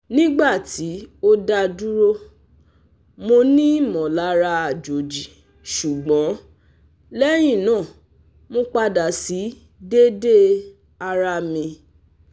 Nigba ti o daduro, monimolara ajoji sugbon lehina mo pada si dede ara mi